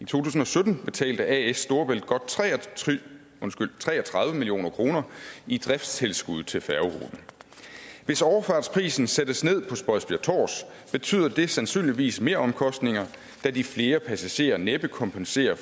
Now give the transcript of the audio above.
tusind og sytten betalte as storebælt godt tre tre og tredive million kroner i driftstilskud til færgeruten hvis overfartsprisen sættes ned på spodsbjerg tårs betyder det sandsynligvis meromkostninger da de flere passagerer næppe kompenserer